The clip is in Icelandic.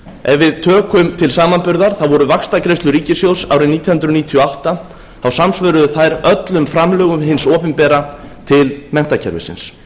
ef við tökum til samanburðar voru vaxtagreiðslur ríkissjóðs árið nítján hundruð níutíu og átta þá samsvöruðu þær öllum framlögum hins opinbera til menntakerfisins